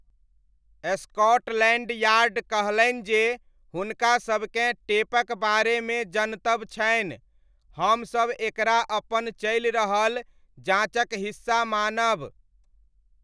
Scotland Yard कहलनि जे हुनकासबकेँ 'टेपक बारेमे जनतब छनि , हमसब एकरा अपन चलि रहल जाँचक हिस्सा मानब '।